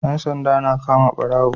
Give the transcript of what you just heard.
Yan sanda na kama barawo